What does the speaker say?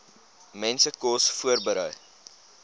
mense kos voorberei